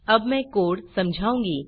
अब मैं कोड़ समझाऊँगी